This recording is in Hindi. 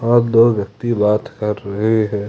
और दो व्यक्ति बात कर रहे हैं।